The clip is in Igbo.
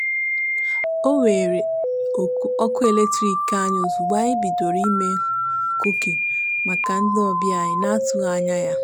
e weere ọkụ eletrik anyị ozugbo anyị bidoro ime kuki maka ndị ọbịa anyi n'atụghị anya ya.